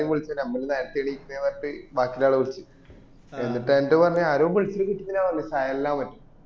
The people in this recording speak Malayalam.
എന്നേം വിളിച്ചീന് നമ്മള് നേരത്തെ എണീക്കണേ പറഞ്ഞിട്ട് ബാക്കിയുളളആള വിളിച് എന്നിട്ടയറ്റോ പറഞ് ആരോ വിളിച്ചിൻ കിട്ടിയില്ല പറഞ് സഹലനോ മറ്റോ